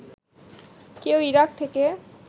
কেউ ইরাক থেকে